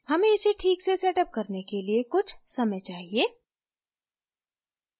हमें इसे ठीक से setअप करने के लिए कुछ समय चाहिए